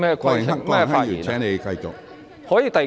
郭榮鏗議員，請繼續發言。